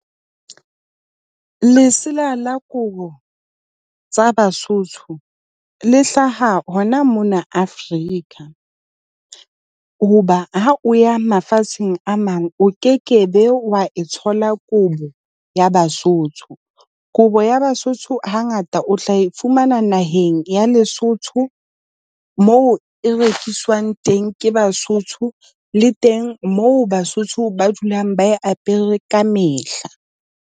Lesela la kobo tsa Basotho le hlaha hona mona Afrika. Hoba ha o ya mafatsheng a mang, o kekebe wa e thola kobo ya Basotho. Kobo ya Basotho hangata o tla e fumana naheng ya Lesotho moo e rekiswang teng ke Basotho le teng moo Basotho ba dulang ba e apere kamehla.